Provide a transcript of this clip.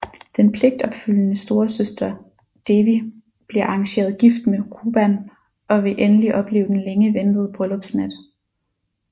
Den pligtopfyldende storesøster Devi bliver arrangeret gift med Ruban og vil endelig opleve den længe ventede bryllupsnat